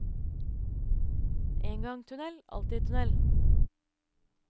En gang tunnel, alltid tunnel.